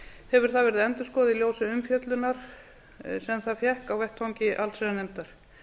hefur það verið endurskoðað í ljósi umfjöllunar sem það fékk á vettvangi allsherjarnefndar